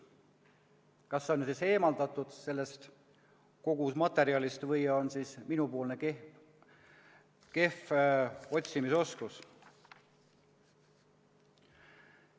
Kas see on kogu sellest materjalist eemaldatud või on tegemist minu kehva otsimisoskusega.